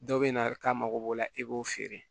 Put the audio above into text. Dɔw bɛ na k'a mago b'o la i b'o feere